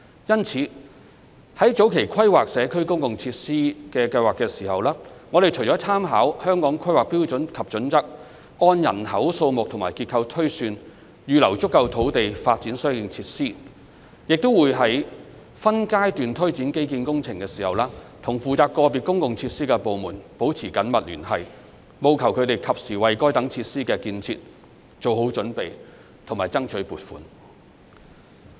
因此，在早期規劃社區公共設施計劃時，我們除參考《香港規劃標準與準則》，按人口數目和結構推算，預留足夠土地發展相應設施，亦會在分階段推展基建工程時，與負責個別公共設施的部門保持緊密聯繫，務求它們及時為該等設施的建設做好準備及爭取撥款。